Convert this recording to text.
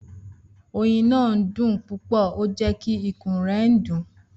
Oyin naa dun pupọ o jẹ ki ikun rẹ dun